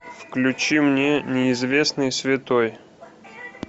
включи мне неизвестный святой